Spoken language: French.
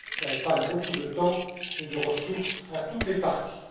Cela épargne beaucoup de temps et de ressources à toutes les parties.